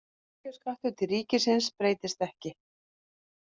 Tekjuskattur til ríkisins breytist ekki